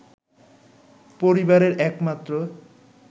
পরিবারের এক মাত্র